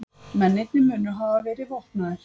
Mennirnir munu hafa verið vopnaðir